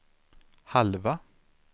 halva